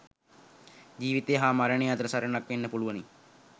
ජීවිතය හා මරණය අතර සටනක් වෙන්න පුළුවනි.